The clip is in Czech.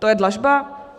To je dlažba?